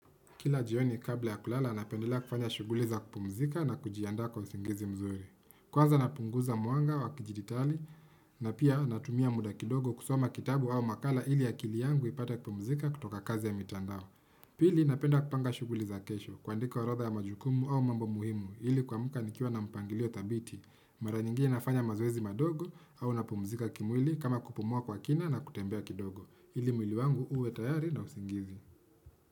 Kila jioni kabla ya kulala napendelea kufanya shughuli za kupumzika na kujiandaa kwa usingizi mzuri. Kwanza napunguza mwanga wa kidijitali na pia natumia muda kidogo kusoma kitabu au makala ili akili yangu ipate kupumzika kutoka kazi ya mitandao. Pili napenda kupanga shughuli za kesho kuandika orodha ya majukumu au mambo muhimu ili kuamka nikiwa na mpangilio thabiti. Mara nyingine nafanya mazoezi madogo au napumzika kimwili kama kupumua kwa kina na kutembea kidogo. Ili mwili wangu uwe tayari na usingizi.